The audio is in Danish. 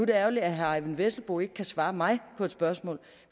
det ærgerligt at herre eyvind vesselbo ikke kan svare mig på et spørgsmål